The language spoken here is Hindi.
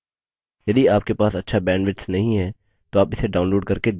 यदि आपके पास अच्छा bandwidth नहीं है तो आप इसे download करके देख सकते हैं